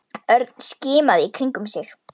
Örn skimaði í kringum sig.